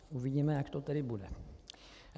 Uvidíme, jak to tedy bude.